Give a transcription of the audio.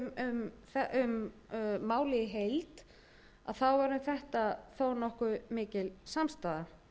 um málið í heild þá er um þetta þó nokkuð mikil samstaða